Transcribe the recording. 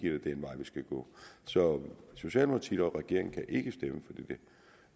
vej vi skal gå så socialdemokratiet og regeringen kan ikke stemme